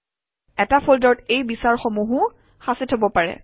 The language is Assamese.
এটা ফল্ডাৰত এই বিচৰাসমূহো সাঁচি থব পাৰে